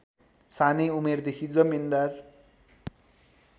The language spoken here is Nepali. सानै उमेरदेखि जमिन्दार